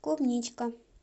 клубничка